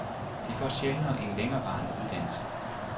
De får sjældnere en længerevarende uddannelse.